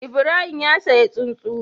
Ibrahim ya siya tsuntsu